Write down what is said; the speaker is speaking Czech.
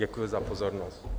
Děkuji za pozornost.